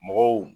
Mɔgɔw